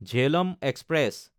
Jhelum express